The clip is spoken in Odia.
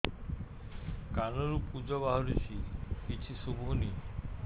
କାନରୁ ପୂଜ ବାହାରୁଛି କିଛି ଶୁଭୁନି